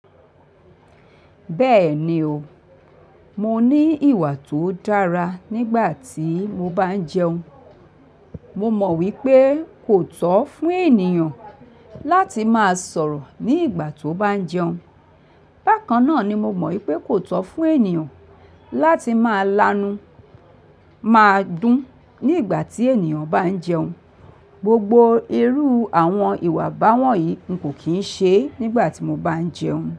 Bẹ́ẹ̀ni o, mo ní ìwà tó dára nígbà tí mo bá ń jẹun. Mo mọ̀ wípé kò tọ́ fún ènìyàn láti máa sọ̀rọ̀ ní ìgbà tó bá ń jẹun. Bákan náà ni mo mọ̀ wípé kò tọ́ fún ènìyàn láti máa lanu, máa dún nígbà tí ènìyàn bá ń jẹun. Gbogbo irú àwọn ìwà báwọ̀nyí n kò kín ṣe nígbà tí mo bá ń jẹun.